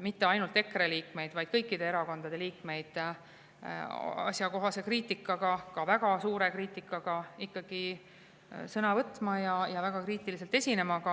mitte ainult EKRE liikmeid, vaid kõikide erakondade liikmeid asjakohase kriitika, ka väga suure kriitika puhul ikkagi sõna võtma ja väga kriitiliselt esinema.